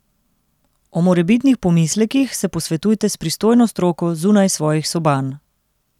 O morebitnih pomislekih se posvetujte s pristojno stroko zunaj svojih soban.